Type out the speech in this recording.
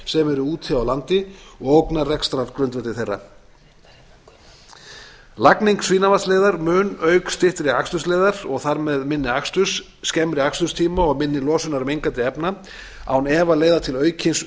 eru úti á landi og ógnar rekstrargrundvelli þeirra lagning svínavatnsleiðar mun auk styttri akstursleiðar og þar með minni aksturs skemmri aksturstíma og minni losunar mengandi efna án efa leiða til aukins